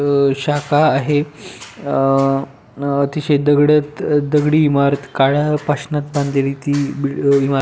अं शाखा आहे अं तिथं दर्डी दगडी इमारत काळ्या पाषाणात बांधलेली ती इमारत --